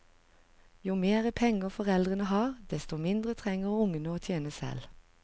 Jo mer penger foreldrene har, desto mindre trenger ungene å tjene selv.